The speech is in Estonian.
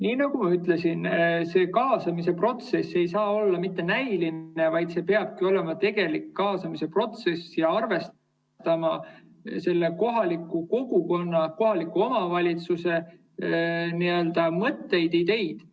Nii nagu ma ütlesin, kaasamise protsess ei tohi olla näiline, vaid peabki olema tegelik kaasamise protsess ja tuleb arvestada kohaliku kogukonna, kohaliku omavalitsuse mõtteid ja ideid.